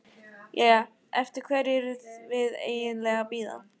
Jæja, eftir hverju erum við eiginlega að bíða?